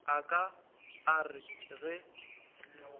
a ka a re ge